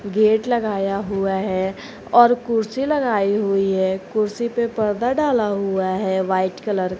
Gate लगाया हुआ है और कुर्सी लगाई हुई है कुर्सी पे पर्दा डाला हुआ है वाइट कलर का।